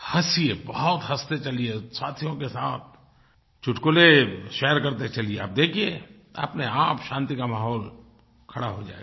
हँसिए बहुत हँसते चलिए साथियों के साथ चुटकले शेयर करते चलिए आप देखिए अपनेआप शांति का माहौल खड़ा हो जाएगा